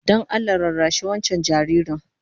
Don Allah rarrashi wancan jaririn